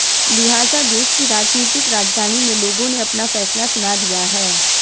लिहाजा देश की राजनीतिक राजधानी में लोगों ने अपना फैसला सुना दिया है